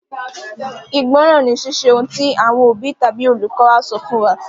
Ìgbọ́ràn ni Ṣíṣe ohun tí àwọn òbí tàbí olùkọ́ wa sọ fún wa.